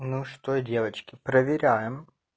ну что девочки проверяем